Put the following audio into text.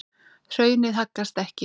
Hraunið haggast ekki.